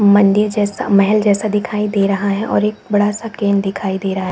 मंदिर जैसा महल जैसा दिखाय दे रहा है और एक बड़ा सा क्रेन दिखाई रहा--